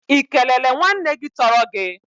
Ị kelele nwanne gị tọrọ gị?